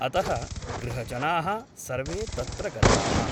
अतः गृहजनाः सर्वे तत्र गताः ।